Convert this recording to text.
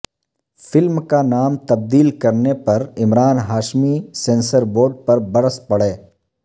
film کا نام تبدیل کرنے پرعمران ہاشمی سنسر بورڈ پر برس پڑے